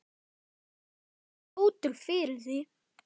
Það er komið kvöld.